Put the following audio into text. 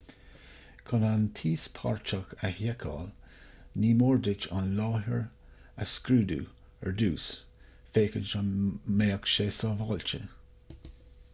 chun an t-íospartach a sheiceáil ní mór duit an láthair a scrúdú ar dtús féachaint an mbeadh sé sábháilte